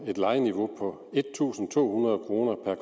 et lejeniveau på en tusind to hundrede kroner per